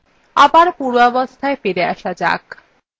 আবার পূর্বাবস্থায় ফিরে আসা যাক